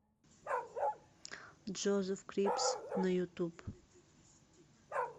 джозеф крипс на ютуб